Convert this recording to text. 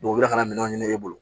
u bɛ ka na minɛn ɲini e bolo